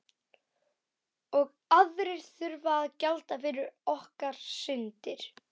Og aðrir þurfa að gjalda fyrir okkar syndir.